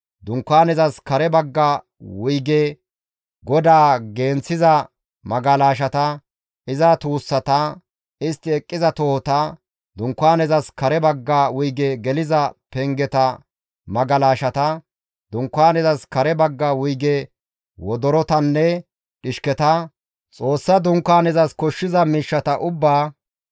Dunkaanezas kare bagga wuyge godaa genththiza magalashata, iza tuussata, istti eqqiza tohota, Dunkaanezas kare bagga wuyge geliza pengeta magalashata, Dunkaanezas kare bagga wuyge wodorotanne dhishketa, Xoossa Dunkaanezas koshshiza miishshata ubba;